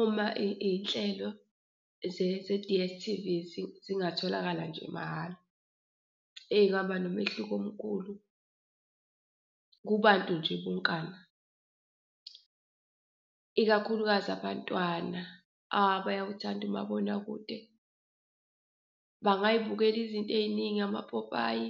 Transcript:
Uma iy'nhlelo ze-D_S_T_V zingatholakala nje mahhala, eyi kungaba nomehluko omkhulu kubantu nje wonkana ikakhulukazi abantwana. Bayawuthanda umabonakude, bangayibukela izinto eziningi amapopayi,